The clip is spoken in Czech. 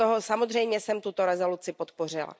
Samozřejmě jsem tuto rezoluci podpořila.